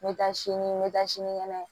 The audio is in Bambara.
N bɛ taa sini n bɛ taa sinikɛnɛ